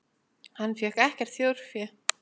Hann fékk ekkert þjórfé.